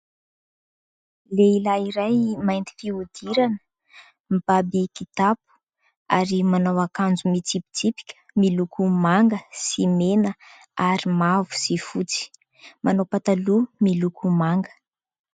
Lehilahy iray mainty fihodirana, mibaby kitapo ary manao akanjo mitsipitsipika miloko manga sy mena ary mavo sy fotsy, manao pataloha miloko manga.